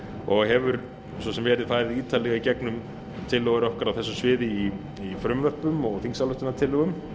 og hefur svo sem verið farið ítarlega í gegnum tillögur okkar á þessu sviði í frumvörpum og þingsályktunartillögum